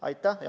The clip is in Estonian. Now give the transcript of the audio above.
Aitäh!